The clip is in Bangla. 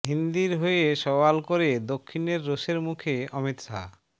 হিন্দির হয়ে সওয়াল করে দক্ষিণের রোষের মুখে অমিত শাহ